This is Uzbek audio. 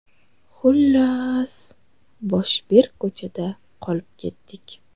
Xullas, boshi berk ko‘chada qolib ketdik.